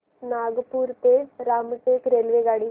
नागपूर ते रामटेक रेल्वेगाडी